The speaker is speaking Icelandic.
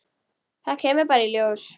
Það kemur bara í ljós.